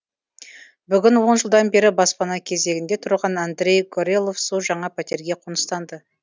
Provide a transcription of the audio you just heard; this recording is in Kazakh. бүгін он жылдан бері баспана кезегінде тұрған андрей горелов су жаңа пәтерге қоныстанды